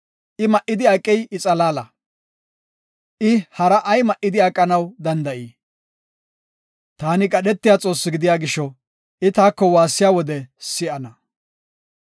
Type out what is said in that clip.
I ma7idi aqey I xalaala. I hara ay ma7idi aqanaw danda7ii? Taani qadhetiya Xoossi gidiya gisho, I taako waassiya wode si7ana.